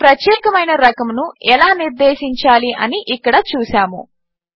ఒక ప్రత్యేకమైన రకమును ఎలా నిర్దేశించాలి అని ఇక్కడ చూసాము